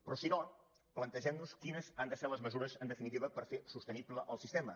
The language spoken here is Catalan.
però si no plantegem nos quines han de ser les mesures en definitiva per fer sostenible el sistema